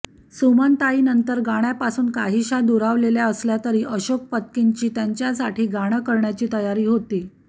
सुमनताई नंतर नंतर गाण्यापासून काहीशा दुरावलेल्या असल्यातरी अशोक पत्कींची त्यांच्यासाठी गाणं करण्याची तयारी होती